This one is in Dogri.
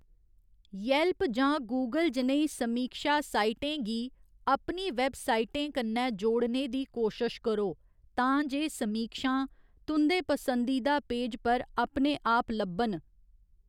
येल्प जां गूगल जनेही समीक्षा साइटें गी अपनी वैबसाइटें कन्नै जोड़ने दी कोशश करो तां जे समीक्षां तुं'दे पसंदीदा पेज पर अपने आप लब्भन।